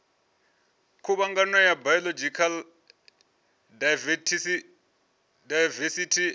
khuvhangano ya biological daivesithi ine